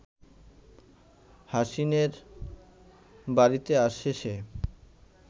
হাসিনের বাড়িতে আসে সে